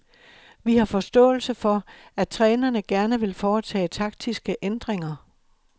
Vi har forståelse for, at trænerne gerne vil foretage taktiske ændringer.